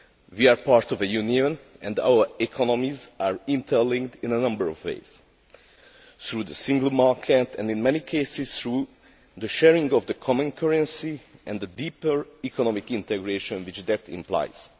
We are part of a Union, and our economies are interlinked in a number of ways through the single market and, in many cases, through the sharing of the common currency and the deeper economic integration which that implies.